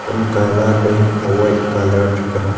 kam colourt e whih threga.